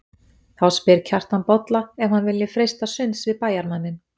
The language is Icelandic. Þá spyr Kjartan Bolla ef hann vilji freista sunds við bæjarmanninn.